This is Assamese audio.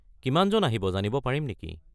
কিমানজন আহিব জানিব পাৰিম নেকি?